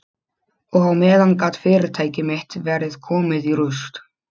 Og á meðan gat fyrirtæki mitt verið komið í rúst.